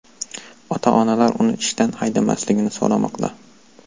Ota-onalar uni ishdan haydamaslikni so‘ramoqda.